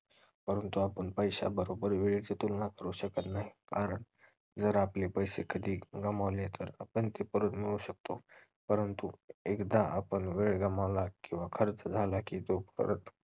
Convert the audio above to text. परंतु आपण पैशाबरोबर वेळेची तुलना करू शकत नाही कारण जर आपले पैशे कधी गमावले तर आपण ते परत मिळवू शकतो परंतु एकदा आपण वेळ गमावला किंवा खर्च झाला की तो परत